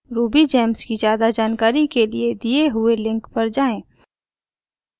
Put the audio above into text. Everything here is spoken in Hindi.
rubygems की ज्यादा जानकारी के लिए दिए हुए लिंक पर जाएँ